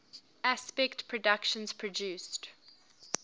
aspect productions produced